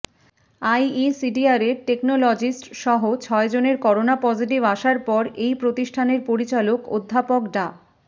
আইইডিসিআরের টেকনোলজিস্টসহ ছয়জনের corona positive আসার পর এই প্রতিষ্ঠানের পরিচালক অধ্যাপক ডা